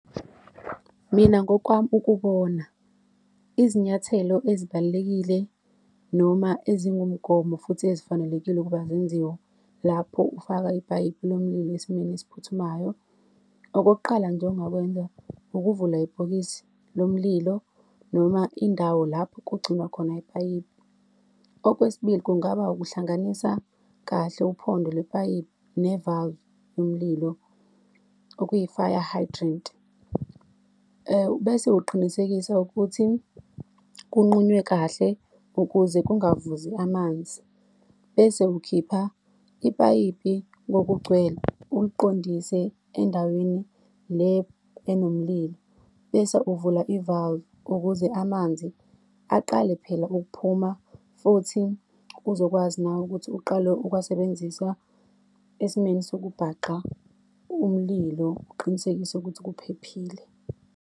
Mina ngokwami ukubona, izinyathelo ezibalulekile noma ezingumgomo futhi ezifanelekile ukuba zenziwe lapho ufaka ipayipi lomlimi esimweni esiphuthumayo. Okokuqala nje ongakwenza, ukuvula ibhokisi lomililo, noma indawo lapho kugcinwa khona ipayipi. Okwesibili, kungaba ukuhlanganisa kahle uphondo lwepayipi ne-valve yomlilo, okuyi-fire hydrant. Bese uqinisekisa ukuthi kunqunywe kahle ukuze kungavuzi amanzi, bese ukhipha ipayipi ngokugcwele uliqondise endaweni le enomlilo. Bese uvula i-valve ukuze amanzi aqale phela ukuphuma, futhi uzokwazi nawe ukuthi uqale ukuwasebenzisa esimeni sokubhaxa umlilo. Uqinisekise ukuthi kuphephile.